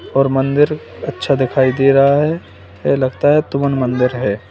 और मंदिर अच्छा दिखाई दे रहा है ये लगता है तुवन मंदिर है।